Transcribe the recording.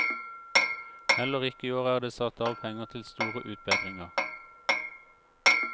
Heller ikke i år er det satt av penger til store utbedringer.